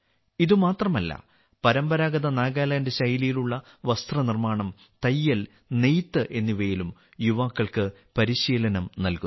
ഇത് മാത്രമല്ല പരമ്പരാഗത നാഗാലാൻഡ് ശൈലിയിലുള്ള വസ്ത്ര നിർമ്മാണം തയ്യൽ നെയ്ത്ത് എന്നിവയിലും യുവാക്കൾക്ക് പരിശീലനം നൽകുന്നു